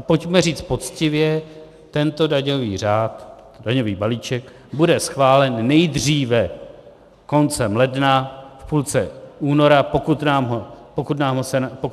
A pojďme říct poctivě: tento daňový řád, daňový balíček, bude schválen nejdříve koncem ledna, v půlce února, pokud